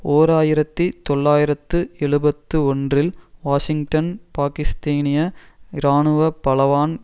ஓர் ஆயிரத்தி தொள்ளாயிரத்து எழுபத்து ஒன்றில் வாஷிங்டன் பாக்கிஸ்தீனிய இராணுவ பலவான்